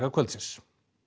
kvöldsins